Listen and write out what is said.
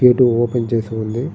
Gate open చేసి ఉంది.